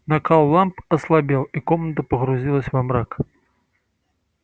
накал ламп ослабел и комната погрузилась во мрак